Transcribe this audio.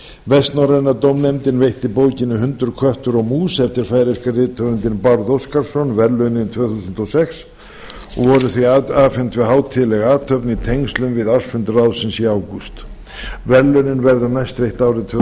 vestnorræna dómnefndin veitti bókinni hundur köttur og mús eftir færeyska rithöfundinn bárð oskarsson verðlaunin tvö þúsund og sex og voru því afhent við hátíðlega athöfn í tengslum við ársfund ráðsins í ágúst verðlaunin verða næst veitt árið tvö